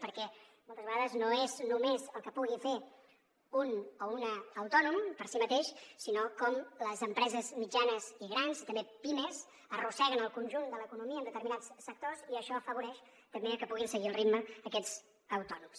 perquè moltes vegades no és només el que pugui fer un o una autònom per si mateix sinó com les empreses mitjanes i grans i també pimes arrosseguen el conjunt de l’economia en determinats sectors i això afavoreix també que en puguin seguir el ritme aquests autònoms